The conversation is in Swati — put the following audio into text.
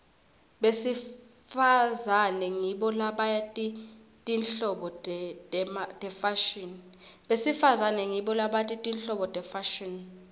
besifazane ngibo labati tinhlobo tefashini